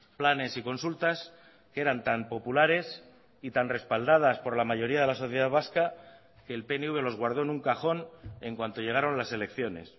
planes y consultas que eran tan populares y tan respaldadas por la mayoría de la sociedad vasca que el pnv los guardó en un cajón en cuanto llegaron las selecciones